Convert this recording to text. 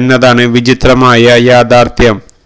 എന്നതാണ് വിചിത്രമായ യാഥാര്ത്ഥ്യം